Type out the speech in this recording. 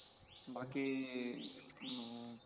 बाकी